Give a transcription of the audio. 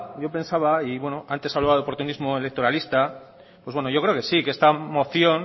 yo pensaba y antes hablaba de oportunismo electoralista pues bueno yo creo que sí que esta moción